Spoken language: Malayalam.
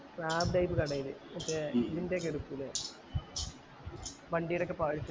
സാബ് type കടേല് മേറ്റ് ഇതിൻറെ ഒക്കെ ഇടുക്കൂലെ വണ്ടിടെ ഒക്കെ parts